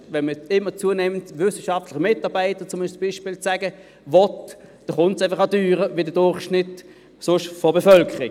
Wenn man immer zunehmend wissenschaftliche Mitarbeiter will, dann kommt es auch teurer als der übrige Durchschnitt der Bevölkerung.